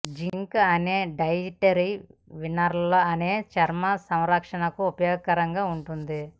zinc అనే dietary mineral అనేది చర్మ సంరక్షణకు ఉపయోగకరంగా ఉంటుంది